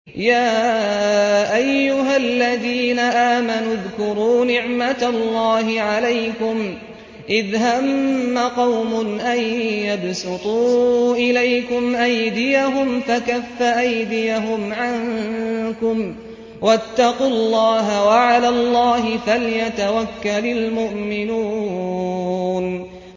يَا أَيُّهَا الَّذِينَ آمَنُوا اذْكُرُوا نِعْمَتَ اللَّهِ عَلَيْكُمْ إِذْ هَمَّ قَوْمٌ أَن يَبْسُطُوا إِلَيْكُمْ أَيْدِيَهُمْ فَكَفَّ أَيْدِيَهُمْ عَنكُمْ ۖ وَاتَّقُوا اللَّهَ ۚ وَعَلَى اللَّهِ فَلْيَتَوَكَّلِ الْمُؤْمِنُونَ